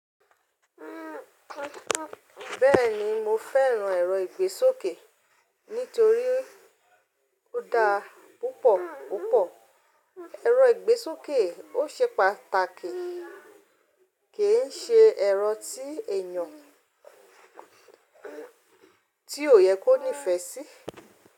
Bẹ́ẹ̀ni mo fẹ́ràn ẹ̀rọ ìgbésókè, nítorí ó dáa púpọ̀ púpọ̀. Ẹ̀rọ ìgbésókè ò ṣe pàtàkì, ke e ṣe ẹ̀rọ tí èèyàn tí ò yẹ kó nífẹ́ sí.